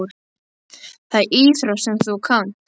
Það er íþrótt sem þú kannt.